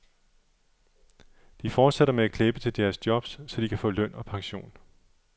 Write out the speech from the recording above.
De fortsætter med at klæbe til deres jobs, så de kan få løn og pension.